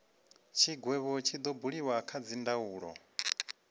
tshigwevho tshi do buliwa kha dzindaulo